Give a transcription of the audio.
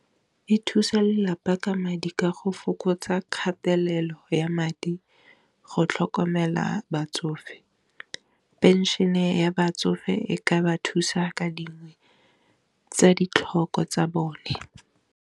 E thusa lelapa ka madi ka go fokotsa kgatelelo ya madi go tlhokomela batsofe, pension-e ya batsofe e ka ba thusa ka dingwe tsa ditlhoko tsa bone.